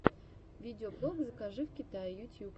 видеоблог закажи в китае ютьюб